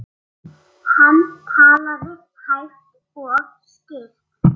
Annars kom gestur.